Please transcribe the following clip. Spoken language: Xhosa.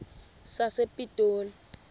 sasepitoli